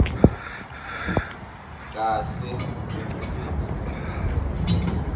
kahle kwemalunga emtimba